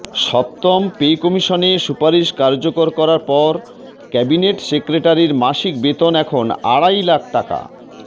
সপ্তম পে কমিশনের সুপারিশ কার্যকর করার পর ক্যাবিনেট সেক্রেটারির মাসিক বেতন এখন আড়াই লাখ টাকা